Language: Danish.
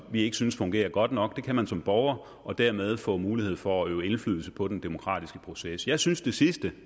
vi ikke synes fungerer godt nok det kan man som borger og dermed får man mulighed for at øve indflydelse på den demokratiske proces jeg synes det sidstnævnte